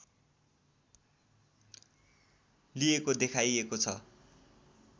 लिएको देखाइएको छ